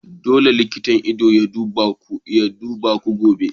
Dole ne likitan ido ya duba idanunku gobe!